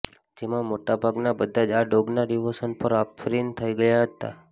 જેમાં મોટાભાગના બધા જ આ ડોગના ડિવોશન પર આફરિન થઈ ગયા હતા